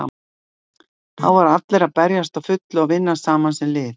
Þá voru allir að berjast á fullu og vinna saman sem lið.